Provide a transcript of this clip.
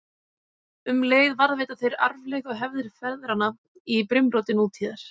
Um leið varðveita þeir arfleifð og hefðir feðranna í brimróti nútíðar.